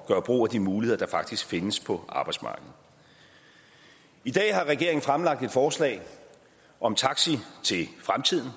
at gøre brug af de muligheder der faktisk findes på arbejdsmarkedet i dag har regeringen fremlagt et forslag om taxi til fremtiden